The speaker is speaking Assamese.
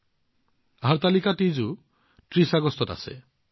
৩০ আগষ্টত হৰতালিকা তীজো আছে